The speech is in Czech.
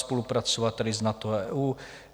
Spolupracovat tedy s NATO a EU.